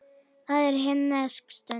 Það er himnesk stund.